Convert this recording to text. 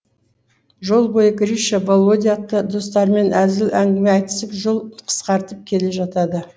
жол бойы гриша володя атты достарымен әзіл әңгіме айтысып жол қысқартып келе жатады